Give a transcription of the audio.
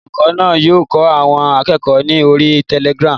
Olùkọ́ náà yóò kọ́ àwọn akẹ́kọ̀ọ́ ni orí Telegram.